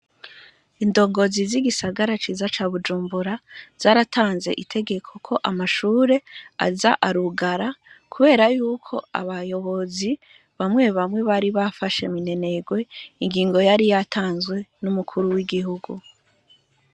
Indongozi z'igisagara ciza ca Bujumbura, zaratanze itegeko ko amashure aza arugara, kubera ko abayobozi bamwe bamwe bari bafashe minenerwe, ingingo yari yatanzwe n'umukuru w'igihugu.